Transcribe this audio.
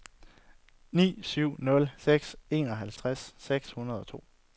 ni syv nul seks enoghalvtreds seks hundrede og to